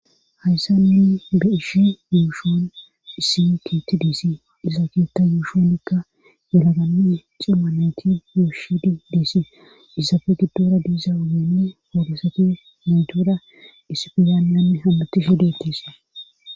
hayssa ninni be ishi yuushoon isi keeti diisi isa keetta yuushonikka yalagammi cimma nayti yuushidi diesi isafe giddora diiza ugenni oodosati naytora isifizaanyann hammati shidetese